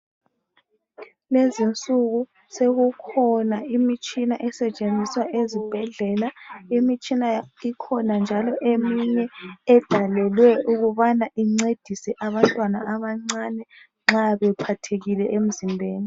Lezi insuku sokukhona imitshina esetshenziswa ezibhedlela. Imitshina ikhona njalo eminye edalelwe ukubana incedise abantwana abancane nxa bephathekile emzimbeni.